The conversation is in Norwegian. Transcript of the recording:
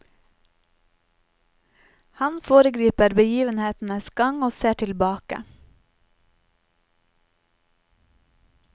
Han foregriper begivenhetenes gang og ser tilbake.